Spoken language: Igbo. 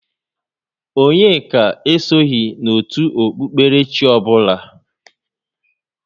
Onyeka esoghi n'ótù okpukpere chi ọbụla